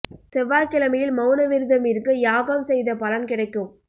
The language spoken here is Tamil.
செவ்வாய் கிழமையில் மவுன விரதம் இருங்க யாகம் செய்த பலன் கிடைக்கும்